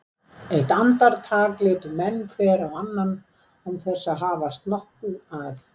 Eitt andartak litu menn hver á annan án þess að hafast nokkuð að.